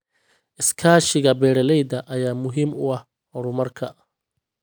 Iskaashiga beeralayda ayaa muhiim u ah horumarka.